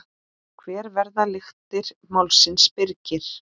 Hver verða lyktir málsins Birgir?